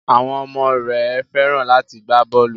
Àwọn ọmọ rẹ Fẹ́ràn láti gbá bọ́ọlù.